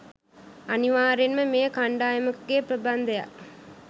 අනිවාර්යයෙන්ම මෙය කණ්ඩායමකගේ ප්‍රබන්ධයක්